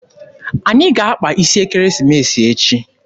Anyị ga-akpa isi ekeresimesi echi.